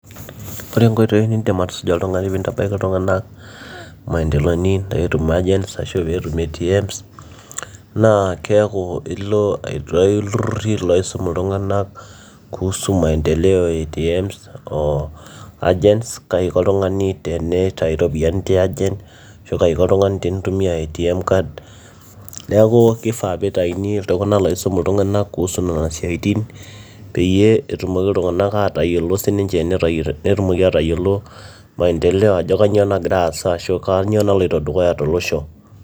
Ore inkoitoi nindiip oltung'ani atusuja pee intabaiki iltung'anak imaendeleoni peetum agents ashuu peetum ATMs naa keeku ilo aitayu iltururi loisum iltung'anak kuhusu maendeleo e ATMs oo Agents kaiko oltung'ani teneitayu iropiyiani tia agent kaiko oltung'ani tenaitumiya ATMs card neeku keifaa peitaaini iltung'anak loisum iltung'anak kuhusu inasiatin peyie etumoki iltung'anak aatayiolo siininche netumoki aatayiolo maendeleo ajo kanyioo nagira aasa ashuu kanyioo naloito dukuya tolosho.